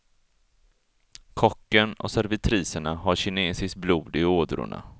Kocken och servitriserna har kinesiskt blod i ådrorna.